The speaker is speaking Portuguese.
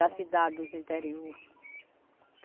Da cidade, dos interior.